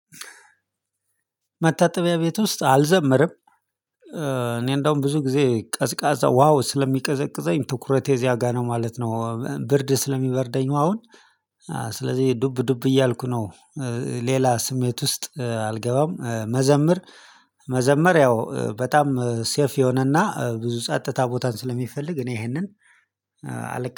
መታጠቢያ ቤት ውስጥ አልዘምርም። እኔ እንደውም ብዙ ጊዜ ቀዝቃዛ ውሃው ስለሚቀዘቅዘኝ ትኩረቴ እዚያ ጋር ነው ማለት ነው። ብርድ ስለሚበርደኝ አሁን ስለዚህ ዱብ ዱብ እያልኩ ነው። ሌላ ስሜት ውስጥ አልገባም። መዘመር መዘመር ያው ሴፍ የሆነና ብዙ ጸጥታ ቦታን ስለሚፈልግ እኔ ይሄንን አልቀ